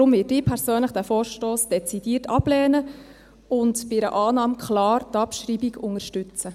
Deshalb werde ich persönlich diesen Vorstoss dezidiert ablehnen und bei einer Annahme klar die Abschreibung unterstützen.